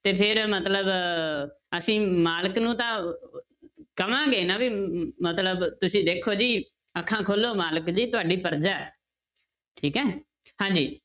ਤੇ ਫਿਰ ਮਤਲਬ ਅਸੀਂ ਮਾਲਕ ਨੂੰ ਤਾਂ ਕਵਾਂਗੇ ਨਾ ਵੀ ਅਮ ਮਤਲਬ ਤੁਸੀਂ ਦੇਖੋ ਜੀ ਅੱਖਾਂ ਖੋਲੋ ਮਾਲਕ ਜੀ ਤੁਹਾਡੀ ਪਰਜਾ ਹੈ, ਠੀਕ ਹੈ ਹਾਂਜੀ।